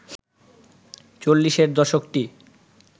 চল্লিশের দশকটি